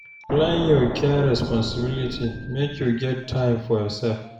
Plan your care responsibilities, make you get time for yoursef.